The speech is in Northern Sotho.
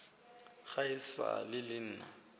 ga e sa le nna